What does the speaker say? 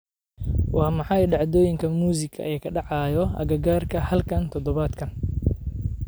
Waa maxay dhacdooyinka muusiga ee ka dhacaya agagaarka halkan todobaadkan?